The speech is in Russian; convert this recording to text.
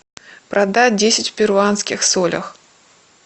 продать десять перуанских солях